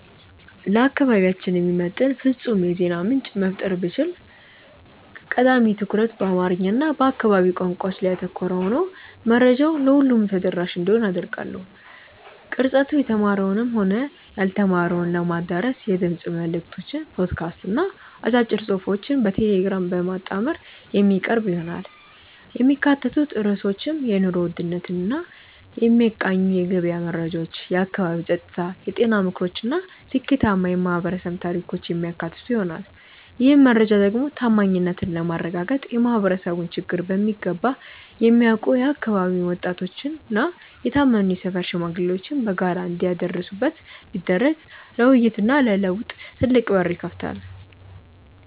ለአካባቢያችን የሚመጥን ፍጹም የዜና ምንጭ መፍጠር ብችል፣ ቀዳሚ ትኩረቱ በአማርኛ እና በአካባቢው ቋንቋዎች ላይ ያተኮረ ሆኖ መረጃው ለሁሉም ተደራሽ እንዲሆን አደርጋለሁ። ቅርጸቱ የተማረውንም ሆነ ያልተማረውን ለማዳረስ የድምፅ መልዕክቶችን (ፖድካስት) እና አጫጭር ጽሑፎችን በቴሌግራም በማጣመር የሚቀርብ ይሆናል። የሚካተቱት ርዕሶችም የኑሮ ውድነትን የሚቃኙ የገበያ መረጃዎች፣ የአካባቢ ጸጥታ፣ የጤና ምክሮች እና ስኬታማ የማኅበረሰብ ታሪኮችን የሚያካትቱ ይሆናል። ይህን መረጃ ደግሞ ታማኝነትን ለማረጋገጥ የማኅበረሰቡን ችግር በሚገባ የሚያውቁ የአካባቢው ወጣቶችና የታመኑ የሰፈር ሽማግሌዎች በጋራ እንዲያደርሱት ቢደረግ ለውይይትና ለለውጥ ትልቅ በር ይከፍታል።